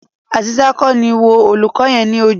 Azeezat ko ni wo olùkọ yẹn ni ojú.